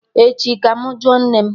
Echi ka mụ jụọ nne m